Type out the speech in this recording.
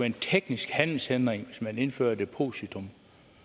en teknisk handelshindring hvis man indfører et depositum